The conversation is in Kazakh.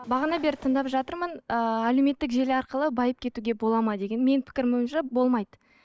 бағана бері тыңдап жатырмын ыыы әлеуметтік желі арқылы байып кетуге болады ма деген менің пікірім бойынша болмайды